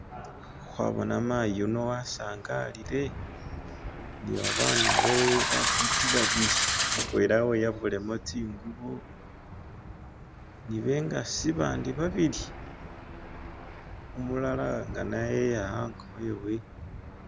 khwabona mayi yuno wasangalile nibabana bewe bafiti babili mutwela weyabulemo tsingubo ni bengasi bandi babili umulala nga na yeya hango hewe